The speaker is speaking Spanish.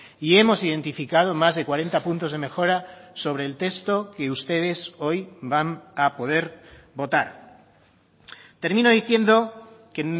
y hemos identificado más de cuarenta puntos de mejora sobre el texto que ustedes hoy van a poder votar termino diciendo que